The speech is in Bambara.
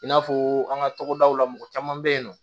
I n'a fɔ an ka togodaw la mɔgɔ caman bɛ yen nɔ